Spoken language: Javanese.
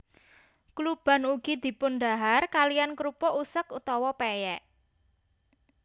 Kluban ugi dipundhahar kaliyan krupuk usek utawa pèyèk